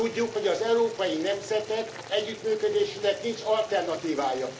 Tudjuk, hogy az európai nemzetek együttműködésének nincs alternatívája.